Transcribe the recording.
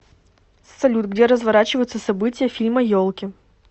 салют где разворачиваются события фильма елки